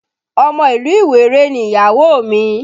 Ọmọ ìlú Ìwéré ni ìyàwó mi